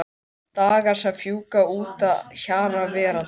Dagar sem fjúka út að hjara veraldar.